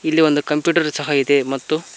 ಇಲ್ಲಿ ಒಂದು ಕಂಪ್ಯೂಟರ್ ಸಹ ಇದೆ ಮತ್ತು--